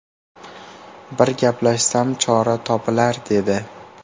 Bir gaplashsam, chora topilar dedi.